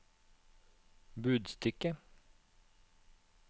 budstikke